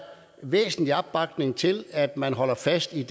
væsentlig opbakning til at man holder fast i